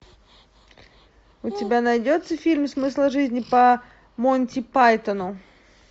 у тебя найдется фильм смысл жизни по монти пайтону